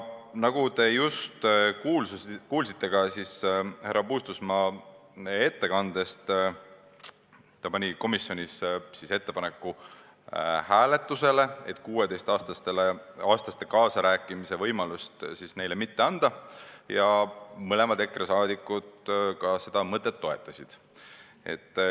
Nagu te just härra Puustusmaa ettekandest kuulsite, pani ta komisjonis hääletusele ettepaneku, et 16-aastastele kaasarääkimise võimalust mitte anda, ja mõlemad EKRE liikmed seda mõtet ka toetasid.